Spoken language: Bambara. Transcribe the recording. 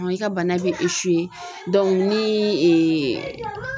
I ka bana bɛ ni